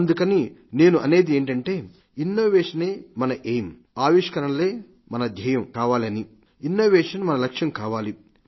అందుకని నేను అనేది ఏమిటంటే ఎన్నోవేషనే మన లక్ష్యం కావాలి